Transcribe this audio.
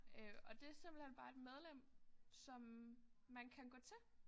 Øh og det simpelthen bare et medlem som man kan gå til